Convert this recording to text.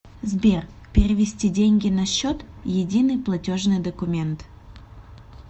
сбер перевести деньги на счет единый платежный документ